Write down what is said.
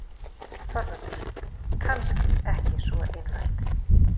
ÞORVALDUR: Kannski ekki svo einfalt.